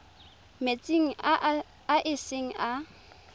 metsing a e seng a